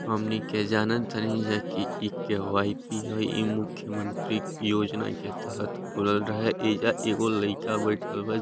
हमनी के जानतानी जा की इ केहू वाई_ पी ह ई मुख्य मंत्री के योजना के तहत खुलल रहे एजा एगो लईका बैठल बा।